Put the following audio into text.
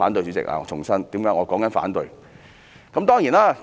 主席，我重申，我反對延展。